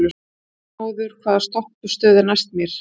Arnmóður, hvaða stoppistöð er næst mér?